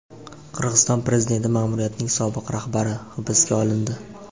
Qirg‘iziston prezidenti ma’muriyatining sobiq rahbari hibsga olindi.